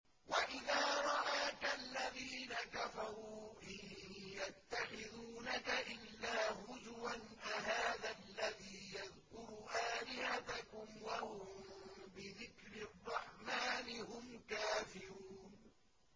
وَإِذَا رَآكَ الَّذِينَ كَفَرُوا إِن يَتَّخِذُونَكَ إِلَّا هُزُوًا أَهَٰذَا الَّذِي يَذْكُرُ آلِهَتَكُمْ وَهُم بِذِكْرِ الرَّحْمَٰنِ هُمْ كَافِرُونَ